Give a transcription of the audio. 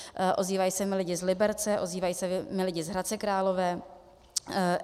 Ozývají se mi lidé z Liberce, ozývají se mi lidé z Hradce Králové.